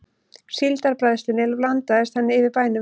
Síldarbræðslunni blandaðist henni yfir bænum.